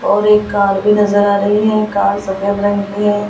और एक कार भी नजर आ रही है कार सफेद रंग की है।